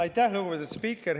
Aitäh, lugupeetud spiiker!